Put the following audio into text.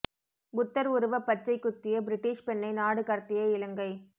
புத்தர் உருவ பச்சை குத்திய பிரிட்டிஷ் பெண்ணை நாடு கடத்திய இலங்கை